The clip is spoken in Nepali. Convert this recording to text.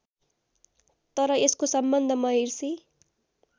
तर यसको सम्बन्ध महिर्शि